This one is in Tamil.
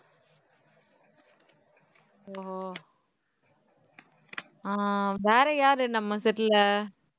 ஓ ஆஹ் வேற யாரு நம்ம set ல